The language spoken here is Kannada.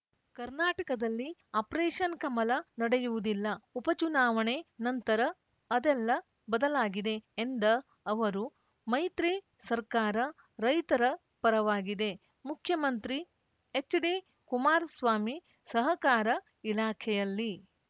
ಕರ್ನಾಟಕದಲ್ಲಿ ಆಪರೇಶನ್‌ ಕಮಲ ನಡೆಯುವುದಿಲ್ಲ ಉಪಚುನಾವಣೆ ನಂತರ ಅದೆಲ್ಲ ಬದಲಾಗಿದೆ ಎಂದ ಅವರು ಮೈತ್ರಿ ಸರ್ಕಾರ ರೈತರ ಪರವಾಗಿದೆ ಮುಖ್ಯಮಂತ್ರಿ ಎಚ್‌ಡಿಕುಮಾರಸ್ವಾಮಿ ಸಹಕಾರ ಇಲಾಖೆಯಲ್ಲಿ